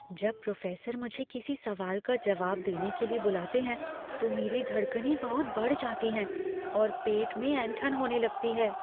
जब प्रोफेसर मुझे किसी सवाल का जवाब देने के लिए बुलाते हैं तो मेरी धड़कनें बहुत बढ़ जाती हैं और पेट में ऐंठन होने लगती है।